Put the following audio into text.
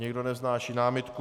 Nikdo nevznáší námitku.